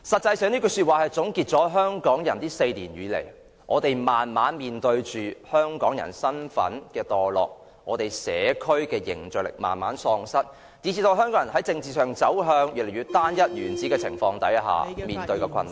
這句說話總結了香港人這4年來，慢慢面對着香港人身份墮落，社區凝聚力慢慢喪失，以至香港人在政治上走向越來越單一、原始的情況下所面對的困難。